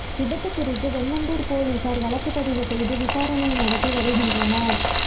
விபத்து குறித்து வெண்ணந்தூர் போலீசார் வழக்குப்பதிவு செய்து விசாரணை நடத்தி வருகின்றனர்